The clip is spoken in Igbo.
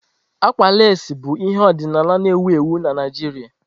Àgwà lasii bụ ihe ọdịnala na-ewu ewu na Naijiria.